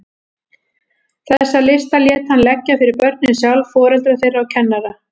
Þessa lista lét hann leggja fyrir börnin sjálf, foreldra þeirra og kennara.